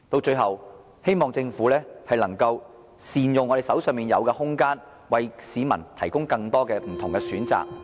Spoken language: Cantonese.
最後，我希望政府能夠善用現有空間，為市民提供更多不同的選擇。